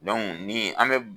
ni an bɛ